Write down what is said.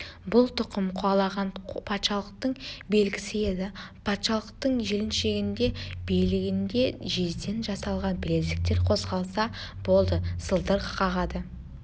бұл тұқым қуалаған патшалықтың белгісі еді патшалықтың жіліншігінде білегінде жезден жасалған білезіктер қозғалса болды сылдыр қағады